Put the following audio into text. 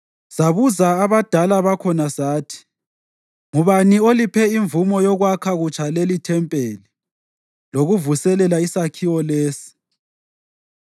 Sabuza abadala bakhona sathi, “Ngubani oliphe imvumo yokwakha kutsha leli ithempeli lokuvuselela isakhiwo lesi?”